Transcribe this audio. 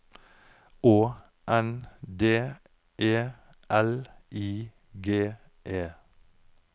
Å N D E L I G E